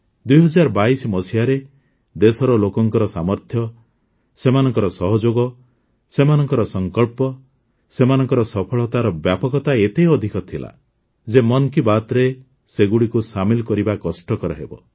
୨୦୨୨ରେ ଦେଶର ଲୋକଙ୍କ ସାମର୍ଥ୍ୟ ସେମାନଙ୍କ ସହଯୋଗ ସେମାନଙ୍କ ସଙ୍କଳ୍ପ ସେମାନଙ୍କ ସଫଳତାର ବ୍ୟାପକତା ଏତେ ଅଧିକ ଥିଲା ଯେ ମନ୍ କି ବାତ୍ରେ ସେସବୁଗୁଡ଼ିକୁ ସାମିଲ୍ କରିବା କଷ୍ଟକର ହେବ